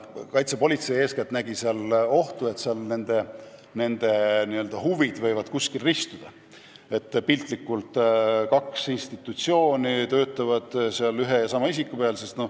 Kaitsepolitsei nägi selle puhul eeskätt ohtu, et huvid võivad kuskil ristuda: piltlikult öeldes kaks institutsiooni võivad töötada nn ühe ja sama isiku peal.